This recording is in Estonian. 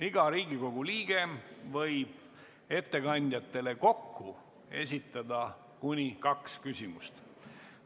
Iga Riigikogu liige võib ettekandjatele kokku esitada kuni kaks küsimust.